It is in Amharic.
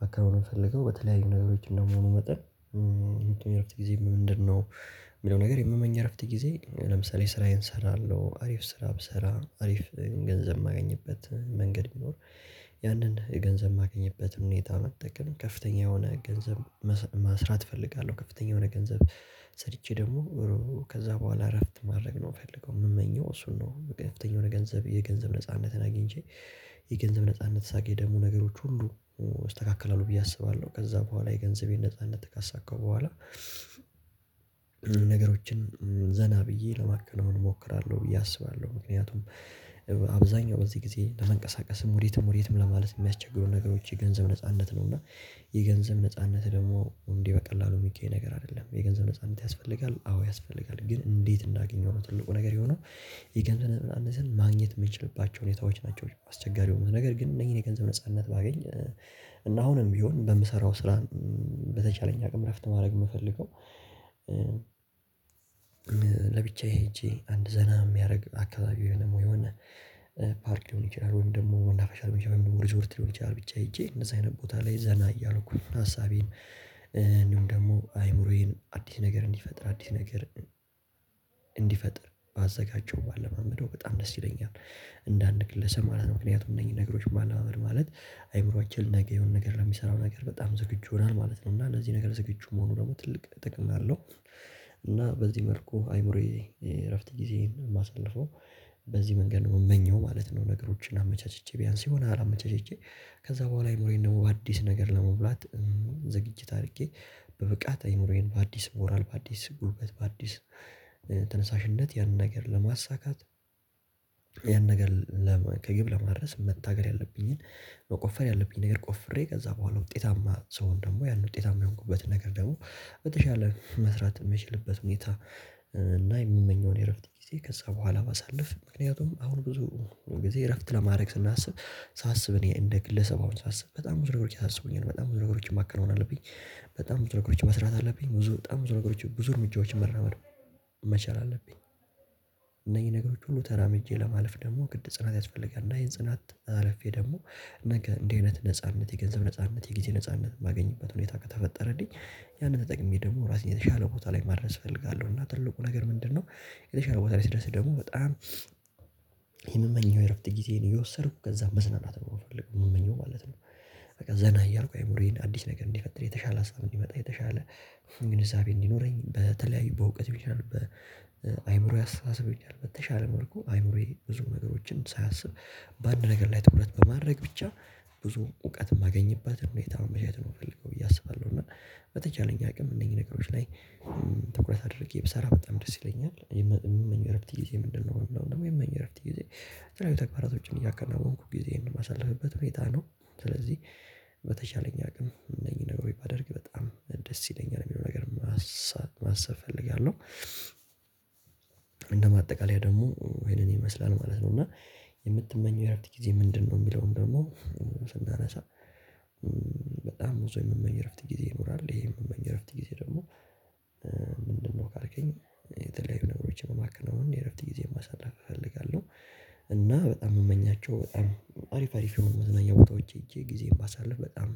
ማከናወን የምፈልገው በተለያዩ ነገሮች እንደመሆኑ መጠን። የምትመኝ እረፍት ጊዜ ምንድነው? የሚለው ነገር የምመኘው እረፍት ጊዜ ለምሳሌ ስራዬን እሰራለሁ አሪፍ ስራ ብሰራ አሪፍ ገንዘብ የማገኝበትን መንገድ ቢኖር። ያንን ገንዘብ የማገኝበት ሁኔታውን መጠቀም ከፍተኛ የሆነ ገንዘብ ማስ ማስራት እፈልጋለሁ። ከፍተኛ የሆነ ገንዘብ ሰርቼ ደግሞ ከዛ በኋላ እረፍት ማድረግ ነው የምፈልገው የምመኘው እሱን ነው። ከፍተኛ የሆነ የገንዘብ የገንዘብ ነጻነትን አግኝቼ የገንዘብ ነጻነት ሳገኝ ደግሞ ነገሮች ሁሉ አስተካክላለሁ ብዬ አስባለሁ ከዛ በኋላ የገንዘቤን ነጻነት ካሳካው በኋላ። ነገሮችን ዘና ብዬ ለማከናወን እሞክራለሁ ብዬ አስባለሁ። ምክንያቱም አብዛኛው በዚህ ጊዜ ለሰንቀሳቀስም ወዴትም ወዴትም ለማለት የሚያስቸግሩ ነገሮች የገንዘብ ነጻነት ነው። እና የገንዘብ ነጻነት ደግሞ እንዲህ በቀላሉ የሚገኝ ነገር አይደለም። የገንዘብ ነጻነት ያስፈልጋል አዎ ያስፈልጋል ግን እንዴት እንዳገኘው ነው ትልቁ ነገር የሆነው። ይሄ ቀን ማግኘት የምትችልባቸው ሁኔታዎች ናቸው አስቸጋሪው ነው። ነገር ግን እነዚህን የገንዘብ ነጻነት ባገኝ እና አሁንም ቢሆን በምሰራው ስራ በተቻለኝ አቅም እረፍት ማድረግ የምፈልገው። ለብቻዬ ሄጄ አንድ ዘና የሚያደርግ አካባቢው የሆነ የሆነ ፓርክ ሊሆን ይችላል ወይም ደግሞ መናፈሻ ሊሆን ይችላል ወይም ደግሞ ሪዞርት ሊሆን ይችላል ብቻ ሄጄ እንደዚህ አይነት ቦታ ላይ ዘና እያልኩኝ ሀሳቤን እንዲሁም ደግሞ አይምሮዬን አዲስ ነገር እንዲፈጥር አዲስ ነገር እንዲፈጥር ባዘጋጀው ባለማመደው በጣም ደስ ይለኛል። እንደ አንድ ግለሰብ ማለት ነው ምክንያቱም እነዚህ ነገሮች ማለማመድ ማለት አይምሮአችን ነገ የሆነ ነገር ለሚሰራው ነገር በጣም ዝግጁ ይሆናል ማለት ነው። እና እነዚህ ነገር ዝግጁ መሆኑ ደግሞ ትልቅ ጥቅም አለው። እና በዚህ መልኩ አይምሮዬ የእረፍት ጊዜ የማሳልፈው በዚህ መንገድ ነው የምመኘው ማለት ነው። ነገሮችን አመቻችቼ ቢያንስ የሆነ አመቻችቼ ከዛ በኋላ አይምሮዬን ደግሞ በአዲስ ነገር ለመብላት ዝግጅት አድርጌ በብቃት አይኖረኝ በአዲስ ሞራል በአዲስ ጉልበት በአዲስ ተነሳሽነት ያን ነገር ለማሳካት። ያን ነገር ከግብ ለመድረስ መታገል ያለብኝን መቆፈር ያለብኝ ነገር ቆፍሬ ከዛ በኋላ ውጤታማ ሰውን ደግሞ ያን ውጤታማ የሆንኩበት ነገር ደግሞ በተሻለ መስራት የምችልበት ሁኔታ። እና የምመኘውን የእረፍት ጊዜ ከዛ በኋላ ባሳልፍ ምክንያቱም አሁን ብዙ ጊዜ እረፍት ለማድረግ ስናስብ ሳስብ እኔ እንደ ግለሰባውን ሳስብ በጣም ብዙ ነገሮች ያስቡኛል በጣም ብዙ ነገሮችን ማከናወን አለብኝ። በጣም ብዙ ነገሮችን መስራት አለብኝ ብዙ በጣም ብዙ ነገሮችን ብዙ እርምጃዎችን መራመር መቻል አለብኝ። እነዚህ ነገሮች ሁሉ ተራምጄ ለማለፍ ደግሞ ግድ ጽናት ያስፈልጋል እንደ አይን ጽናት አልፌ ደግሞ ነገ እንደዚህ አይነት ነጻነት የገንዘብ ነጻነት የጊዜ ነጻነት የማገኝበት ሁኔታ ከተፈጠረ ደግሞ ያንን ተጠቅሜ ደግሞ ራሴን የተሻለ ቦታ ላይ ማድረስ እፈልጋለሁ። እና ትልቁ ነገር ምንድነው? የተሻለ ቦታ ላይ ስደርስ ደግሞ በጣም የምመኘው የእረፍት ጊዜ እየወሰድኩ ከዛ መዝናናት ነው የምፈልገው የምመኘው ማለት ነው። በቃ ዘና እያልኩ አይምሮየን አዲስ ነገር እንዲፈጠር የተሻለ ሀሳብ እንዲመጣ የተሻለ እሱን ግንዛቤ እንዲኖረኝ በተለያዩ በእውቀት ቢሆን በአእምሮዬ አስተሳሰብ ይቻላል በተሻለ መልኩ አእምሮዬ ብዙ ነገሮችን ሳያስብ በአንድ ነገር ላይ ትኩረት በማድረግ ብቻ ብዙ እውቀት የማገኝባት ሆኔታ ነው የተማመቻቸት አይነት ነው የምፈልገው ብዬ አስባለሁ። እና በተቻለኝ አቅም እነዚህ ነገሮች ላይ ትኩረት አድርጌ ብሰራ በጣም ደስ ይለኛል። የምመኝው የእረፍት ጊዜ ምንድነው? የምመኘው እረፍት ጊዜ ተግባራት ውጪም እያከለመንኩ ጊዜህን ማሳለፍበት ሁኔታ ነው። ስለዚህ በተሻለኝ አቅም እነዚህን ነገሮች ባደርግ በጣም ደስ ይለኛል የሚለው ነገር ማሰብ እፈልጋለሁ። እንደማጠቃለያ ደግሞ ወይንም ይመስላል ማለት ነው። እና የምትመኘው የረፍት ጊዜ ምንድነው? የሚለውን ደግሞ ስናነሳ በጣም ብዙ የመመኝ እረፍት ጊዜ ይኖራል ይሄ የምመኝ እረፍት ጊዜ ደግሞ ምንድነው ካልከኝ የተለያዩ ነገሮችን ማክረም የእረፍት ጊዜ ማሳደግ እፈልጋለሁ። እና በጣም የምመኛቸው በጣም አሪፍ አሪፍ የሆኑ ዝናኛ ቦታዎች ሄጄ ጊዜ ባሳልፍ በጣም